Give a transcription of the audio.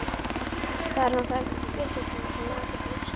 Það er nú það vitlausasta sem maður gæti hugsað sér.